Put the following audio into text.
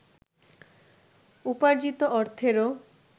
উপার্জিত অর্থেরও